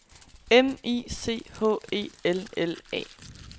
M I C H E L L A